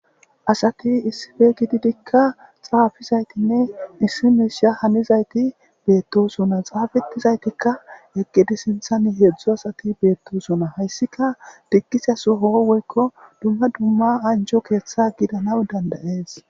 Asat issippe gididinne xaafizaytinne issi misha hanizayt betosona xafetizaytika eqid sinthan 3 asat betosona , haysika digizse Soho woykko dumma dumma anjo ketha gidanaw danda'es